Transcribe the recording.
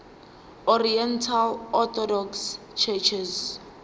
oriental orthodox churches